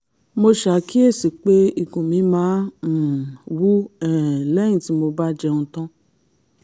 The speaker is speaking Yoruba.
mo ṣàkíyèsí pé ikùn mi máa ń um wú um lẹ́yìn tí mo bá jẹun tán